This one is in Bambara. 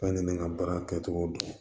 Fɛn ni ne ka baara kɛcogo don